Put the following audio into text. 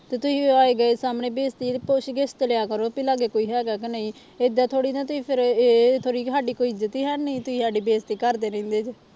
ਤੇ ਤੁਸੀਂ ਆਏ ਗਏ ਸਾਹਮਣੇ ਬੇਇਜਤੀ ਪੁੱਛਗਿਛ ਤਾਂ ਲਿਆ ਕਰੋ ਵੀ ਲਾਗੇ ਕੋਈ ਹੈਗਾ ਕਿ ਨਹੀਂ, ਏਦਾਂ ਥੋੜ੍ਹੀ ਨਾ ਤੁਸੀਂ ਫਿਰ ਇਹ ਥੋੜ੍ਹੀ ਸਾਡੀ ਕੋਈ ਇੱਜਤ ਹੀ ਹੈ ਨੀ, ਤੁਸੀਂ ਸਾਡੀ ਬੇਇਜਤੀ ਕਰਦੇ ਰਹਿੰਦੇ ਜੇ।